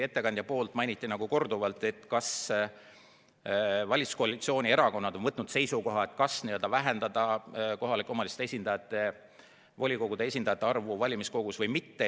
Ettekandja küsis korduvalt, kas valitsuskoalitsiooni erakonnad on võtnud seisukoha, kas vähendada kohalike omavalitsuste volikogude esindajate arvu valimiskogus või mitte.